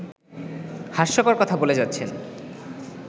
হাস্যকর কথা বলে যাচ্ছেন